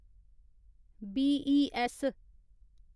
बीईऐस्स